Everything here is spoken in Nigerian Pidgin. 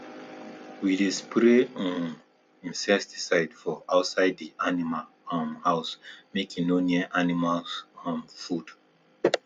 we dey spray um insecticide for outside di animal um house mek e no near animals um food